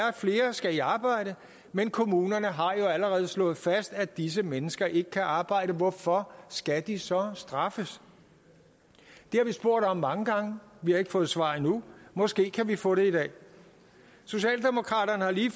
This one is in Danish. at flere skal i arbejde men kommunerne har jo allerede slået fast at disse mennesker ikke kan arbejde hvorfor skal de så straffes det har vi spurgt om mange gange vi har ikke fået svar endnu måske kan vi få det i dag socialdemokraterne har lige